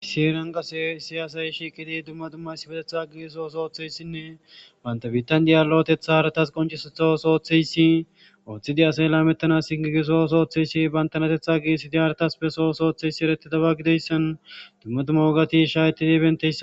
Issi heran qase daro asay shiqidi duma duma issipeteta oso othiyaysine banta bitan de'iya lo'oteta haratas qonc'isuza oso othiyaysi othidi asay lametetanas gigiza oso othishe bantanateta gigisidi haratas beso oso othiyaysi eretidaba gidiyaysan duma duma wogati shahetidi betiyaysako.